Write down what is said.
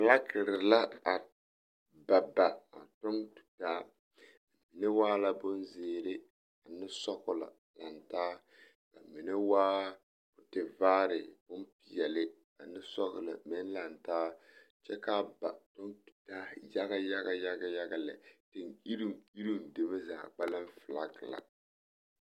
Filakiri la a ba ba a tɔŋ tutaa, mine waa la bonzeere ane sɔgelɔ lantaa a mine waa tevaare bomeɛle ane sɔgelɔ meŋ lantaa kyɛ k'a ba kyɔŋ tutaa yaga yaga yaga lɛ, teŋ-iriŋ iriŋ zaa filaki la